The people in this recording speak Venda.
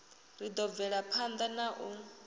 ri ḓo bvelaphanḓa na u